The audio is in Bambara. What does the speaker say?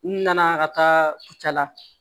N nana ka taa kucala